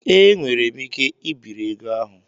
Ee, enwere m ike ibiri ego ahụ.